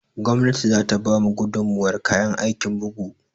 Gwamnati za ta ba mu gudummuwar kayan aikin bugu